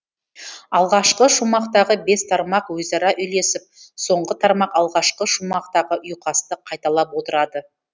алғашқы шумақтағы бес тармақ өзара үйлесіп соңғы тармақ алғашқы шумақтағы ұйқасты қайталап отырады